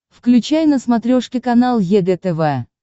включай на смотрешке канал егэ тв